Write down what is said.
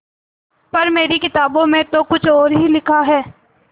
पर मेरी किताबों में तो कुछ और ही लिखा है